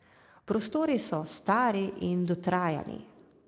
Prostori so stari in dotrajani.